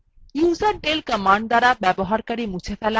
userdel command দ্বারা user মুছে ফেলা